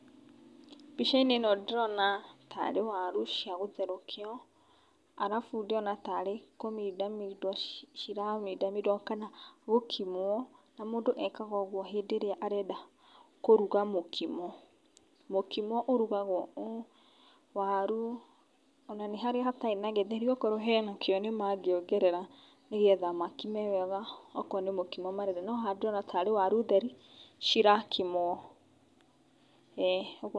Mbica-inĩ ĩno ndĩrona ta rĩ waru cia gũtherũkio, arabu ndĩrona ta arĩ kũmindamindwo ciramindamindwo kana gũkimwo, na mũndũ ekaga ũguo hĩndĩ ĩrĩa arenda kũruga mũkimo. Mũkimo ũrugagwo ũũ, waru, o na nĩ harĩa hatarĩ na githeri, okorwo hena kĩo, nĩmangĩongerera nĩgetha makime wega okorwo nĩ mũkimo marenda, no haha ndĩrona ta arĩ waru theri cirakimwo, eeh.